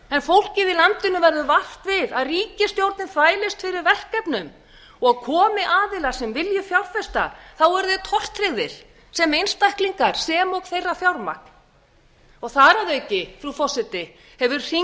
en fólkið í landinu verður vart við að ríkisstjórnin þvælist fyrir verkefnum og komi aðilar sem vilji fjárfesta þá eru þeir tortryggðir sem einstaklingar sem og þeirra fjármagn þar að auki frú forseti hefur hringlið